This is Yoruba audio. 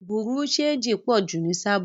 Bùrúdì ṣẹegì pọ̀ jù ni Sábò.